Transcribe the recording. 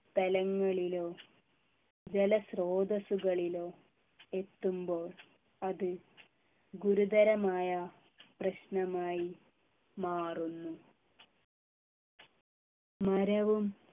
സ്ഥലങ്ങളിലോ ജലസ്രോതസ്സുകളിലോ എത്തുമ്പോൾ അത് ഗുരുതരമായ പ്രശ്നമായി മാറുന്നു മരവും